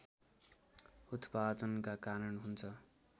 उत्पादनका कारण हुन्छ